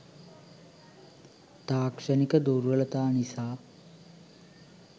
තාක්ෂණික දුර්වලතා නිසා